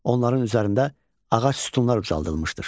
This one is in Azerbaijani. Onların üzərində ağac sütunlar ucaldılmışdır.